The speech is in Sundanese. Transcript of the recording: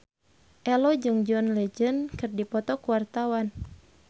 Ello jeung John Legend keur dipoto ku wartawan